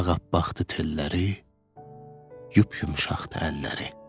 Ağappaqdı telləri, yupyumşaqdı əlləri.